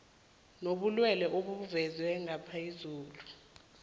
nobulwelwele obuvezwe ngaphezulu